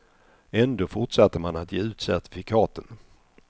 Ändå fortsatte man att ge ut certifikaten.